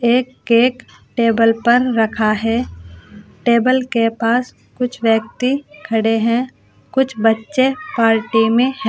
एक cake table पर रखा है। टेबल के पास कुछ व्यक्ति खड़े हैं। कुछ बच्चे पार्टी में हैं।